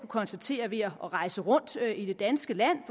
konstatere ved at rejse rundt i det danske land